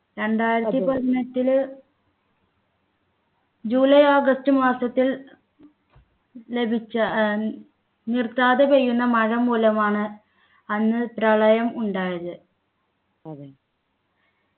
രണ്ടായിരത്തി പതിനെട്ടില് July August മാസത്തിൽ ലഭിച്ച ഏർ നിർത്താതെ പെയ്യുന്ന മഴ മൂലമാണ് അന്ന് പ്രളയം ഉണ്ടായത്